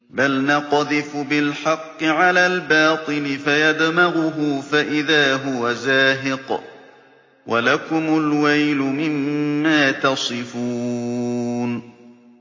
بَلْ نَقْذِفُ بِالْحَقِّ عَلَى الْبَاطِلِ فَيَدْمَغُهُ فَإِذَا هُوَ زَاهِقٌ ۚ وَلَكُمُ الْوَيْلُ مِمَّا تَصِفُونَ